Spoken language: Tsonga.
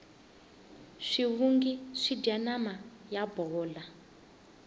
swivungu swidya nama yo bola